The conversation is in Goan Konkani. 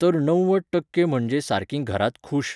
तर णव्वद टक्के म्हणजे सारकीं घरांत खूश.